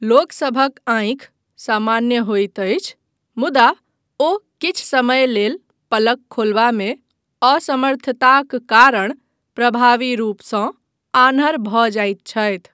लोकसभक आँखि सामान्य होयत अछि, मुदा ओ किछु समय लेल पलक खोलबामे असमर्थताक कारण प्रभावी रूपसँ आन्हर भऽ जायत छथि।